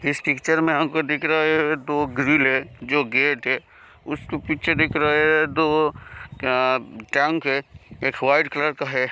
इस पिक्चर में हमको दिख रहा है दो ग्रिल है जो गेट है उसके पीछे देख रहा है दो अं ट्रंक हैं एक व्हाइट कलर का है।